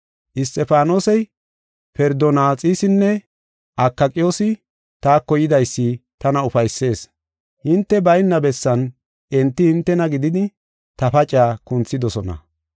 Isxifaanosey, Ferdonaxisinne Akayqoosi taako yidaysi tana ufaysis. Hinte bayna bessan enti hintena gididi ta pacaa kunthidosona.